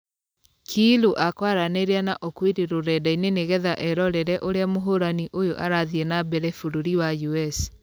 Kiilu akũaranĩria na okwiri rũrenda-inĩ nĩgetha ĩrorere ũrĩa mũhũrani ũyũ arathie na mbere bũrũri wa us.